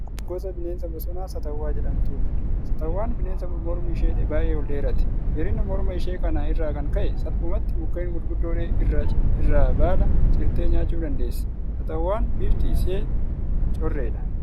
Kun gosa bineensa bosonaa saatawwaa jedhamtuudha. Saatawwaan bineensa mormi ishee baay'ee ol dheeraati. Dheerina morma ishee kana irraa kan ka'e salphumatti mukkeen gurguddoo irraa baala cirtee nyaachuu dandeessi. Saatawwaan bifti isee correedha.